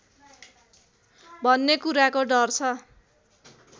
भन्ने कुराको डर छ